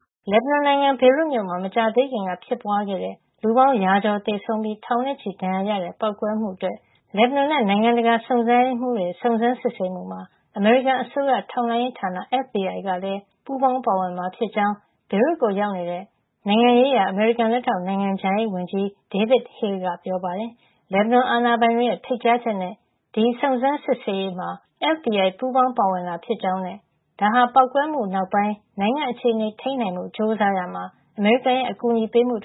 လက်ဘနွန်နိုင်ငံ ဘေရွတ်မြို့မှာ မကြာသေးခင်က ဖြစ်ပွါးခဲ့တဲ့ လူပေါင်း ရာကျော်သေဆုံးပြီး ထောင်နဲ့ချီ ဒဏ်ရာရခဲ့တဲ့ ပေါက်ကွဲမှုအတွက် လက်ဘနွန်နဲ့ နိုင်ငံတကာ စုံစမ်းရေးမှုတွေရဲ့ စုံစမ်းစစ်ဆေးမှုမှာ အမေရိကန်အစိုးရ ထောက်လှမ်းရေးဌာန FBI လည်း ပူးပေါင်းပါဝင် မှာ ဖြစ်ကြောင်း ဘေရွတ်ကိုရောက် နေတဲ့ နိုင်ငံရေးဆိုင်ရာ အမေရိကန်လက်ထောက် နိုင်ငံခြားရေးဝန်ကြီး David Hale က ပြောပါတယ်။ ဒီပေါက်ကွဲမှုဆိုင်ရာ စုံစမ်းစစ်ဆေးရေးမှာ လက်ဘနွန် အာဏာပိုင်တွေရဲ့ ဖိတ်ကြားချက်နဲ့ FBI ပူးပေါင်းပါဝင်တာ ဖြစ်ကြောင်းနဲ့ ဒါဟာ ပေါက်ကွဲမှုနောက်ပိုင်း နိုင်ငံအခြေနေထိန်းဖို့ ကြိုးစားရာမှာ အမေရိကန် အကူညီပေးမှုတ